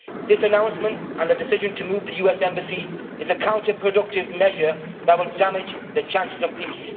This announcement, and the decision to move the US embassy, is a counterproductive measure that will damage the chances of peace.